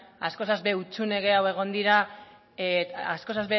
askoz hutsune gehiago egon dira askoz